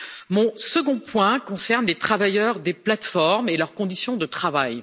Mon second point concerne les travailleurs des plateformes et leurs conditions de travail.